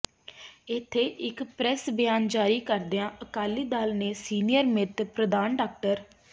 ਇਥੇ ਇਕ ਪ੍ਰੈੱਸ ਬਿਆਨ ਜਾਰੀ ਕਰਦਿਆਂ ਅਕਾਲੀ ਦਲ ਦੇ ਸੀਨੀਅਰ ਮੀਤ ਪ੍ਰਧਾਨ ਡਾ